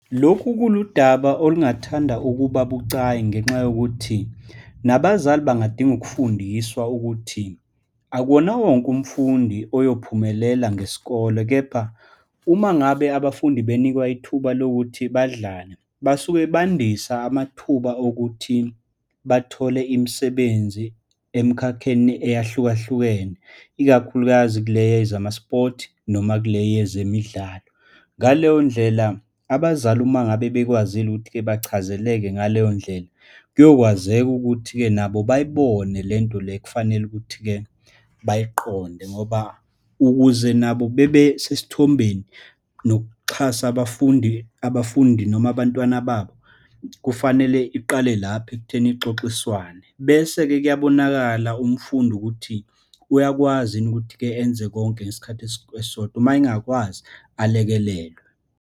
Lokhu kuludaba olungathanda ukuba bucayi ngenxa yokuthi nabazali bangadinga ukufundiswa ukuthi akuwona wonke umfundi oyophumelela ngesikole. Kepha uma ngabe abafundi banikwa ithuba lokuthi badlale, basuke bafundisa amathuba okuthi bathole imisebenzi emkhakheni eyahlukahlukene, ikakhulukazi kule yezama-sport noma kule yezemidlalo. Ngaleyondlela abazali, uma ngabe bekwazile ukuthi-ke bachazeleke ngaleyondlela, kuyokwazeka ukuthi-ke nabo bayibone lento le ekufanele ukuthi-ke bayiqonde. Ngoba ukuze nabo bebesesithombeni nokuxhasa abafundi, abafundi noma abantwana babo, kufanele iqale lapho ekutheni ixoxiswane. Bese-ke kuyabonakala umfundi ukuthi uyakwazi yini ukuthi-ke enze konke ngesikhathi esisodwa, uma engakwazi alekelelwe.